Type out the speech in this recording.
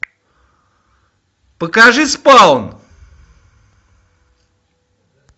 покажи спаун